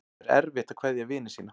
Það er erfitt að kveðja vini sína.